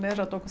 Né já estou com